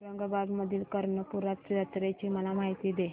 औरंगाबाद मधील कर्णपूरा जत्रेची मला माहिती दे